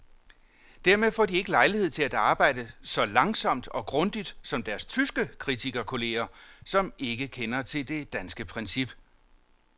Dermed får de ikke lejlighed til at arbejde så langsomt og grundigt som deres tyske kritikerkolleger, som ikke kender til det danske princip.